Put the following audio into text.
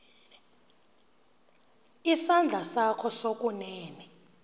isandla sakho sokunene